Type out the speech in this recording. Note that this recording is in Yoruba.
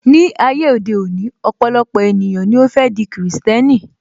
Ní ayé òde òní, ọpọlọpọ ènìyàn ni ó fẹ́ di krìstẹ́nì